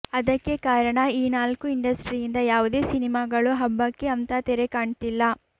ಅದಕ್ಕೆ ಕಾರಣ ಈ ನಾಲ್ಕು ಇಂಡಸ್ಟ್ರಿಯಿಂದ ಯಾವುದೇ ಸಿನಿಮಾಗಳು ಹಬ್ಬಕ್ಕೆ ಅಂತ ತೆರೆ ಕಾಣ್ತಿಲ್ಲ